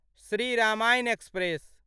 Shri Ramayan express